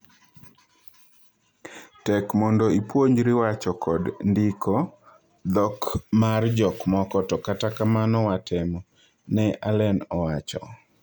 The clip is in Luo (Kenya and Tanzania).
"Tek mondo ipuonjri wacho kod ndiko dhok mar jok moko to kata kamano watemo," Ne Allen owacho.